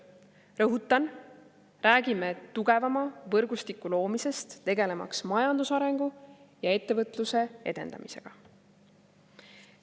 Rõhutan: räägime tugevama võrgustiku loomisest, tegelemaks majandusarengu ja ettevõtluse edendamisega.